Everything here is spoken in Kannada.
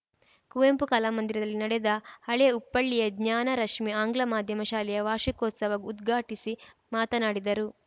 ಕುವೆಂಪು ಕಲಾ ಮಂದಿರದಲ್ಲಿ ನಡೆದ ಹಳೇ ಉಪ್ಪಳ್ಳಿಯ ಜ್ಞಾನರಶ್ಮಿ ಆಂಗ್ಲ ಮಾಧ್ಯಮ ಶಾಲೆಯ ವಾರ್ಷಿಕೋತ್ಸವ ಉದ್ಘಾಟಿಸಿ ಮಾತನಾಡಿದರು